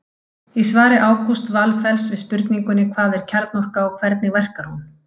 Í svari Ágústs Valfells við spurningunni Hvað er kjarnorka og hvernig verkar hún?